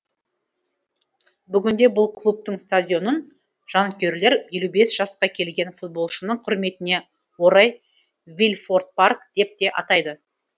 бүгінде бұл клубтың стадионын жанкүйерлер елу бес жасқа келген футболшының құрметіне орай вильфорт парк деп те атайды